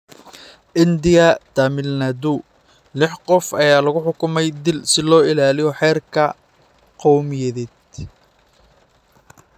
India Tamil Nadu: Lix qof ayaa lagu xukumay dil si loo ilaaliyo heerka qowmiyadeed